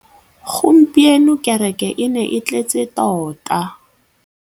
Gompieno kêrêkê e ne e tletse tota.